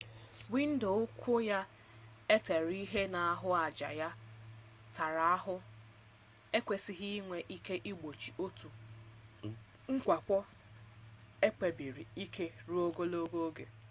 windo ukwu ya e tere ihe na ahụaja ya tara ahụ ekwesịghị inwe ike igbochi otu mwakpo ekpebisiri ike ruo ogologo oge